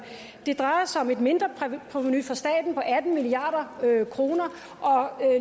drejer sig om et mindre provenu for staten på atten milliard kr og